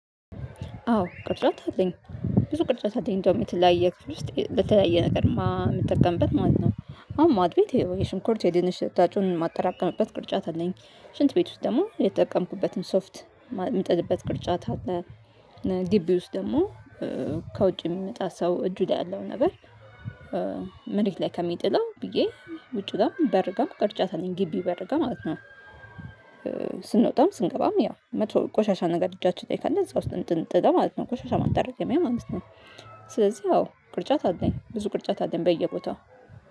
አዎ ቅርጫት አለኝ ብዙ ቅርጫት አለኝ እንደውም የተለያየ ክፍል ውስጥ ለተለያየ ነገር የምትጠቀምበት ማለት ነው። አሁን ማዕድ ቤት ይሄው የሽንኩርት የድንች ልታጩን ማጠራቀምበት ቅርጫት አለኝ ሽንት ቤት ውስጥ ደግሞ የተጠቀምኩበትን ሶፍት ምትልበት ቅርጫት አለ። ግቢ ውስጥ ደግሞ ከውጭ የሚመጣ ሰው እጁ ላይ ያለው ነበር። መሬት ላይ ከሚጥለው ብዬ ውጪ ጋር በር ጋም ቅርጫት አለኝ ግቢ በር ጋም ማለት ነው። ስንወጣም ስንገባም ያ መጥፎ ቆሻሻ ነገር እጃቸው ካለ እዛ ውስጥ እንድንጥለው ማለት ነው ቆሻሻ ማጠራቀሚያ ማለት ነው። ስለዚህ አዎ ቅርጫት አለኝ ብዙ ቅርጫት አለኝ በየቦታው